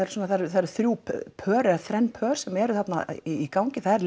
það eru það eru þrjú pör eða þrenn pör sem eru þarna í gangi það er